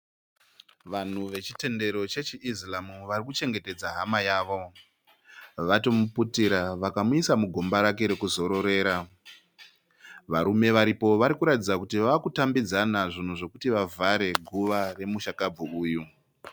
Vanhu vechitendero chechiIslam vari kuchengetedza hama yawo. Vatomuputira vakamuisa mugomba rake rekuzororera. Varume varipo vari kuratidza kuti vaa kutambidzana zvinhu zvekuti vavhare guva remushakabvu uyu.